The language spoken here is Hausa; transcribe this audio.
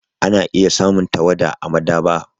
Ana iya samun tawada a maɗaba'a.